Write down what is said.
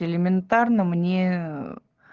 элементарно мне